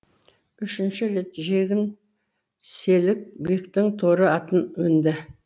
үшінші рет жегін селік бектің торы атын мінді